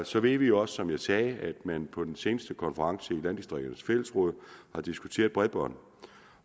så ved vi jo også som jeg sagde at man på den seneste konference i landdistrikternes fællesråd har diskuteret bredbånd